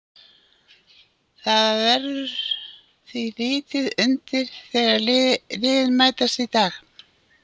Það verður því lítið undir þegar liðin mætast í dag.